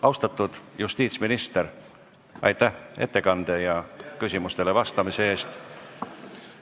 Austatud justiitsminister, aitäh ettekande ja küsimustele vastamise eest!